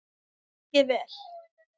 Lengi vel.